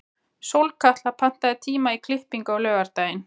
Sólkatla, pantaðu tíma í klippingu á laugardaginn.